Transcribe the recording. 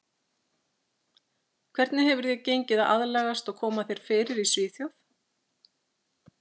Hvernig hefur þér gengið að aðlagast og koma þér fyrir í Svíþjóð?